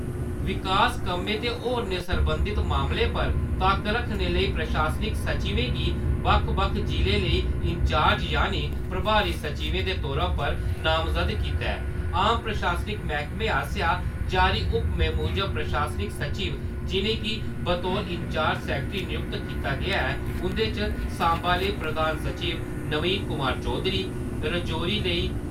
विकास कम्में ते होरने सरबंधत मामलें पर तक्क रक्खने लेई प्रशासनक सचिवें गी बक्ख-बक्ख जि'लें लेई इन्चार्ज यानी प्रभारी सचिवें दे तौरा पर नामजद कीता ऐ। आम प्रशासनक मैह्कमें आसेआ जारी हुक्मै मूजब, प्रशासनक सचिव जि'नेंगी बतौर इन्चार्ज सैक्रेट्री नियुक्त कीता गेआ ऐ उदे च सांबा लेई प्रधान सचिव नवीन कुमार चौधरी, राजोरी लेई